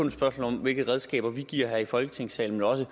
et spørgsmål om hvilke redskaber vi giver her i folketingssalen men også